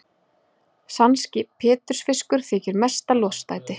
Sankti pétursfiskur þykir mesta lostæti.